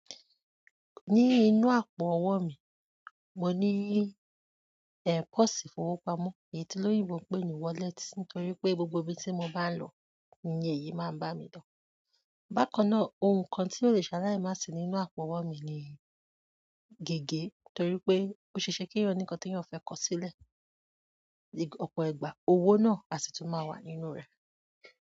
Ní inú àpò owó mi, mo ní ẹ́, kọ́ọ̀sì ìfowópamọ́ èyí tí olóyìnbó n pé ni wallet nítorí pé gbogbo ibi tí mo bá ń lọ, oun ni èyí máa ń bá mi n lo. Bákan náà, ohun kan tí ò lè ṣalai má sì nínú àpò owó mi ni gègé torí pé ó ṣe ṣe kí eeyan ní nkán tí eeyan fẹ́ kọ sílẹ̀. Opo ìgbà, owo náà a si tun maa wa nínú re.